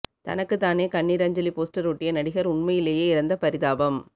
தனக்கு தானே கண்ணீர் அஞ்சலி போஸ்டர் ஓட்டிய நடிகர் உண்மையிலேயே இறந்த பரிதாபம்